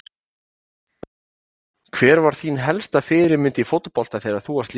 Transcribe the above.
Hver var þín helsta fyrirmynd í fótbolta þegar þú varst lítill?